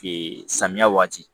samiya waati